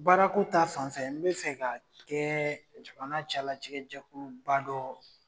Baara ko ta fan fɛ n be fɛ ka kɛ jamana cɛla ci kɛ jɛkuluba dɔ